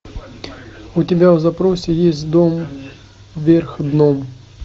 у тебя в запросе есть дом вверх дном